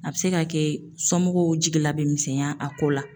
A bɛ se ka kɛ somɔgɔw jigila bɛ misɛnya a ko la